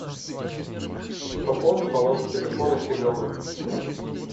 пополни баланс телефона семену